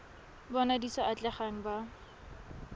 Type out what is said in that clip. bona di sa atlegang ba